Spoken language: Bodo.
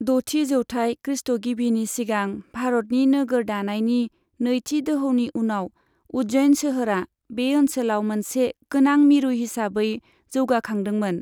द'थि जौथाइ खृष्टगिबिनि सिगां भारतनि नोगोर दानायनि नैथि दोहौनि समाव उज्जैन सोहोरा बे ओनसोलाव मोनसे गोनां मिरु हिसाबै जौगाखांदोंमोन।